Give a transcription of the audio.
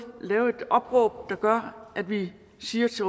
lave et opråb der gør at vi siger til